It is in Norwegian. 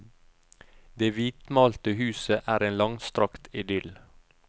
Det hvitmalte huset er en langstrakt idyll.